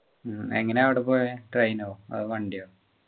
ഉം എങ്ങനെയാ അവിടെ പോയെ train ഓ